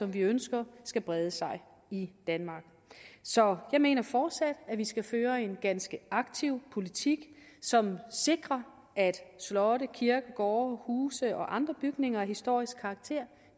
vi ønsker skal brede sig i danmark så jeg mener fortsat at vi skal føre en ganske aktiv politik som sikrer at slotte kirkegårde huse og andre bygninger af historisk karakter